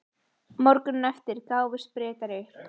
Morguninn eftir gáfust Bretar upp.